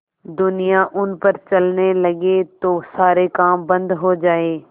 दुनिया उन पर चलने लगे तो सारे काम बन्द हो जाएँ